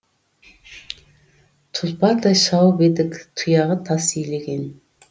тұлпардай шауып едік тұяғы тас илеген